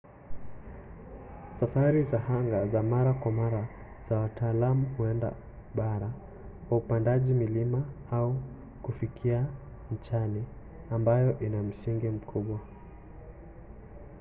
safari za anga za mara kwa mara za wataalam huenda bara kwa upandaji milima au kufikia nchani ambayo ina msingi mkubwa